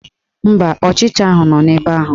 Mba, ọchịcha ahụ nọ ebe ahụ